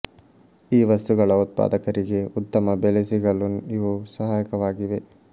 ಈ ವಸ್ತುಗಳ ಉತ್ಪಾದಕರಿಗೆ ಉತ್ತಮ ಬೆಲೆ ಸಿಗಲು ಇವು ಸಹಾಯಕವಾಗಿವೆ